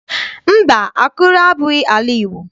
Mba, Akure abụghị ala Igbo.